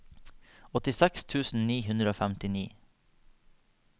åttiseks tusen ni hundre og femtini